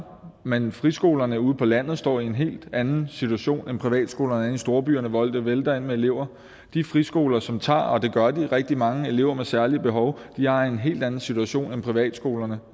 men friskolerne ude på landet står i en helt anden situation end privatskolerne inde i storbyerne hvor det vælter ind med elever de friskoler som tager rigtig mange elever med særlige behov de har en helt anden situation end privatskolerne